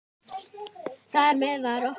Þar með var okkur